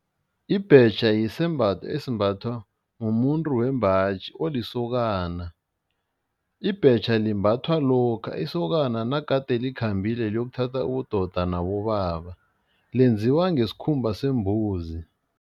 Ibhetjha yisembatho esembathwa mumuntu wembaji olisokana. Ibhetjha limbathwa lokha isokana nagade likhambile liyokuthatha ubudoda nabobaba, lenziwa ngesikhumba sembuzi.